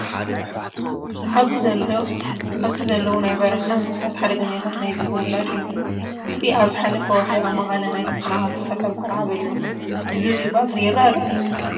ኣብዚ ዘለው ናይ በረካ እንስሳት ሓደጋኛታት ናይ ዝብኢ ውላድ እዮም። ዝብኢ ኣብ ዝሓለፈ ወርሒ ኣብ መቀለ ናይ ተፈናቀልቲ ሰፈር ቆልዓ በሊዑ። ዝብኢ ብቀትሪ ይርኢ ዶ ?